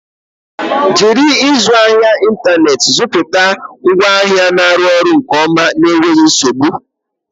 Jiri ịzụ ahịa n'ịntanetị zụta ngwaahịa na ọrụ nke ọma na enweghi nzogbu.